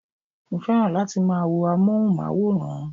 Mo fẹ́ràn láti máa wo amóhùnmáwòrán